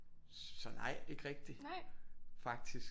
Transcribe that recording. Så nej ikke rigtig faktisk